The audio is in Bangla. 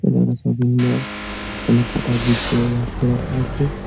এটা একটা শপিং মল অনেককটা আছে--